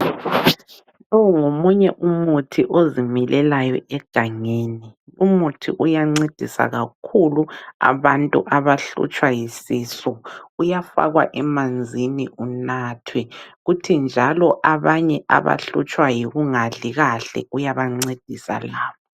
Lo ngomunye umuthi ozimilelayo egangeni. Umuthi uyancedisa kakhulu abantu abahlutshwa yisisu. Uyafakwa emanzini unathwe. Kuthi njalo abanye abahlutshwa yikungadli kahle uyabancedisa labo.